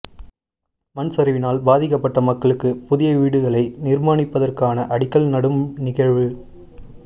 மண்சரிவினால் பாதிக்கப்பட்ட மக்களுக்கு புதிய வீடுகளை நிர்மாணிப்பதற்கான அடிக்கல் நடும் நிகழ்வு